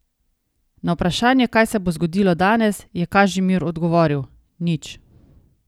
Na vprašanje, kaj se bo zgodilo danes, je Kažimir odgovoril: 'Nič.